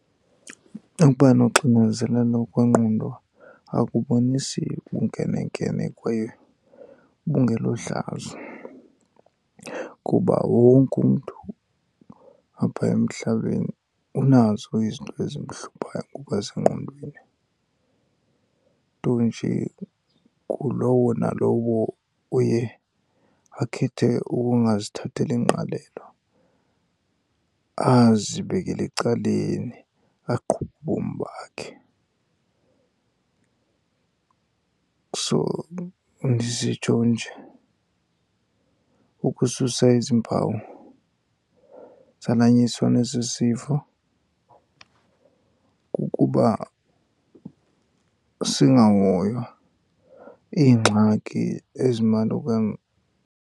Ukuba noxinezelelo kwengqondo akubonisi bunkenenkene kwaye bungelohlazo, kuba wonke umntu apha emhlabeni unazo izinto ezimhluphayo ngokwasengqondweni. Nto nje ngulowo nalowo uye akhethe ukungazithatheli ngqalelo, azibekele ecaleni aqhube ubomi bakhe. So, ndisitsho nje ukususa ezi mpawu zalanyiswa nesi sifo kukuba singahoywa iingxaki ezimalunga .